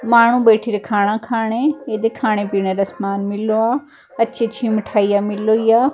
ਮਾਨੋ ਬੈਠੀ ਰੇ ਖਾਣਾ ਖਾਣੇ ਇਹਦੇ ਖਾਣੇ ਪੀਣੇ ਕਾ ਸਮਾਨ ਮਿਲੋ ਅੱਛੀ ਅੱਛੀ ਮਿਠਾਈਆਂ ਮਿਲੋ ਜਹਾ।